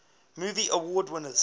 movie award winners